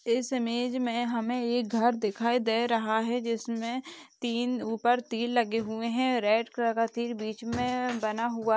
इस इमेज में हमें एक घर दिखाई- दे- रहा है जिसमें तीन ऊपर तिल लगे हुए हैं रेड कलर की बीच में बना हुआ है।